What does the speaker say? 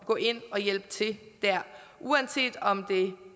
gå ind og hjælpe til dér uanset om det